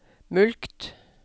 mulkt